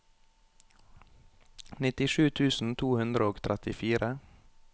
nittisju tusen to hundre og trettifire